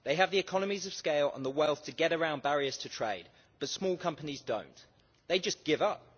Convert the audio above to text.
They have the economies of scale and the wealth to get around barriers to trade that small companies do not they just give up.